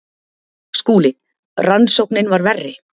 SKÚLI: Rannsóknin var verri.